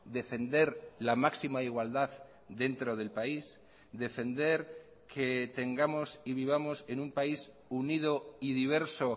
defender la máxima igualdad dentro del país defender que tengamos y vivamos en un país unido y diverso